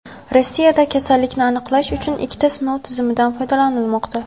Rossiyada kasallikni aniqlash uchun ikkita sinov tizimidan foydalanilmoqda.